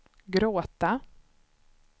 gråta